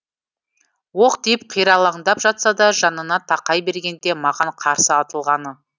оқ тиіп қиралаңдап жатса да жанына тақай бергенде маған қарсы атылғаны